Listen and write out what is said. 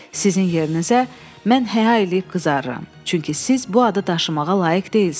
Sizin yerinizə mən həya eləyib qızarıram, çünki siz bu adı daşımağa layiq deyilsiz.